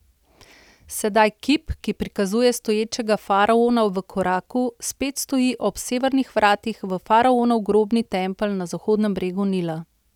Sedaj kip, ki prikazuje stoječega faraona v koraku, spet stoji ob severnih vratih v faraonov grobni tempelj na zahodnem bregu Nila.